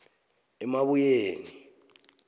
emabuyeni